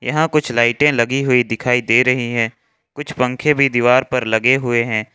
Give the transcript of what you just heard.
यहाँ कुछ लाइटे लगी हुई दिखाई दे रही है कुछ पंखे भी दीवार पर लगे हुए हैं।